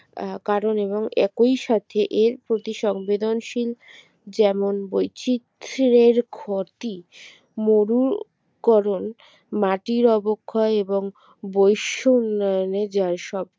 আহ কারণ এবং একই সাথে এর প্রতি সংবেদনশীল যেমন বৈচিত্রের ক্ষতি মরুকরন মাটির অবক্ষয় এবং বইস্য উন্নয়নে যায় সব